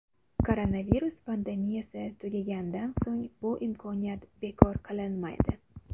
Koronavirus pandemiyasi tugagandan so‘ng bu imkoniyat bekor qilinmaydi.